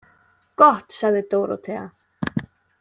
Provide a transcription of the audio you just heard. Gott, sagði Dórótea.